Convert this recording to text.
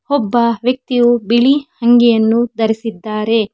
ಒಬ್ಬ ವ್ಯಕ್ತಿಯು ಬಿಳಿ ಅಂಗಿಯನ್ನು ಧರಿಸಿದ್ಧಾರೆ.